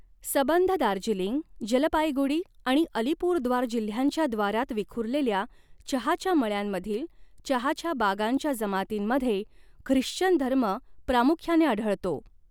सबंध दार्जिलिंग, जलपाईगुडी आणि अलीपुरद्वार जिल्ह्यांच्या द्वारांत विखुरलेल्या चहाच्या मळ्यांमधील चहाच्या बागांच्या जमातींमध्ये ख्रिश्चन धर्म प्रामुख्याने आढळतो.